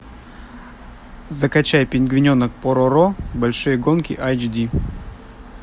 закачай пингвиненок пороро большие гонки айч ди